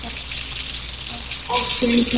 Og ekki æpa svona.